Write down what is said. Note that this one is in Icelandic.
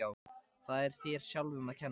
Það er þér sjálfum að kenna.